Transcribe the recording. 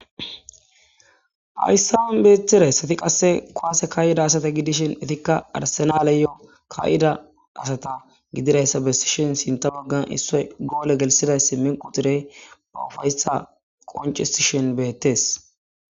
Hayssaan beetirayssati qasse koaase kayida asata gidishin etikka arsenaleyoo kayida asata gidirayssa besishin sinta boggan issoy goole gelsiday si min qutirey ba ufayssa qoncisishin beettes.